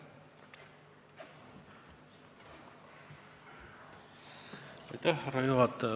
Austatud härra juhataja!